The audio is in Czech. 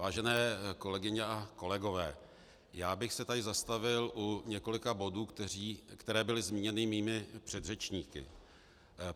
Vážené kolegyně a kolegové, já bych se tady zastavil u několika bodů, které byly zmíněny mými předřečníky.